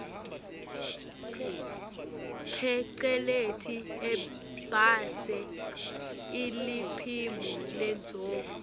pheceleti ibase iliphimbo lendvodza